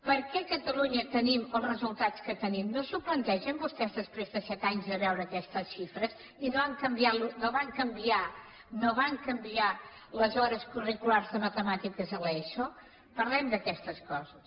per què a catalunya tenim els resultats que tenim no s’ho plantegen vostès després de set anys de veure aquestes xifres i no van canviar no van canviar les les hores curriculars de matemàtiques a l’eso parlem d’aquestes coses